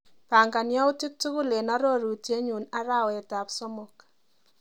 Pangan yautik tukul eng arorutienyu arawetap somok.